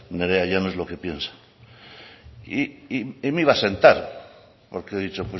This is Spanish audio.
nerea llanos lo que piensa y me iba a sentar porque he dicho